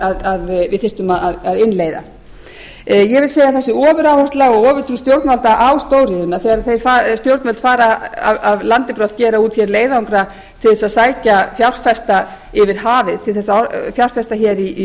að við þyrftum að innleiða ég vil segja að þessi ofuráhersla til stjórnvalda á stóriðjuna þegar stjórnvöld fara af landi brott gera út leiðangra til þess að sækja fjárfesta yfir hafið til að fjárfesta í